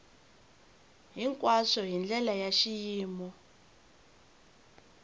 hinkwaswo hi ndlela ya xiyimo